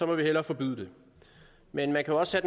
man hellere forbyde det men man kan også